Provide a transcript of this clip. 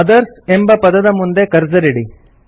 mother's ಎಂಬ ಪದದ ಮುಂದೆ ಕರ್ಸರ್ ಇಡಿ